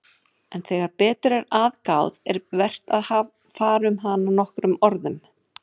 En þegar betur er að gáð er vert að fara um hana nokkrum orðum.